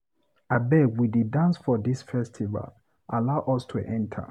Abeg we dey dance for dis festival, allow us to enter.